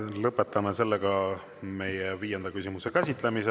Lõpetame meie viienda küsimuse käsitlemise.